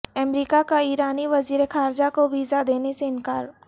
امریکا کا ایرانی وزیر خارجہ کو ویزا دینے سے انکار